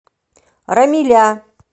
рамиля